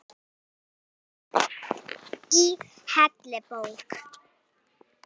Í heilli bók.